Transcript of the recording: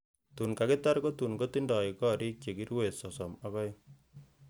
Tun kakitar, kotun kotindoi gorik che kiruen sosom ak o'eng.